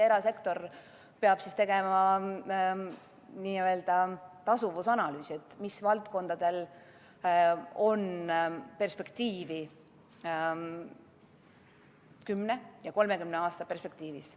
Erasektor peab tegema n-ö tasuvusanalüüsi, millistel valdkondadel on perspektiivi 10 ja 30 aasta vaates.